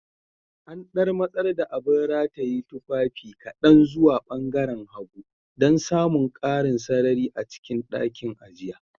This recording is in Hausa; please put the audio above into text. An ɗan matsar da abin rataye tufafi kaɗan zuwa ɓangaaren hagu dan samun ƙarin sarari a cikin ɗakin, a jiya